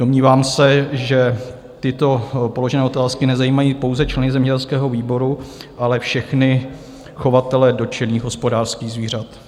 Domnívám se, že tyto položené otázky nezajímají pouze členy zemědělského výboru, ale všechny chovatele dotčených hospodářských zvířat.